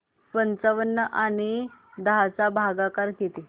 पंचावन्न आणि दहा चा भागाकार किती